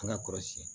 An ka kɔlɔsi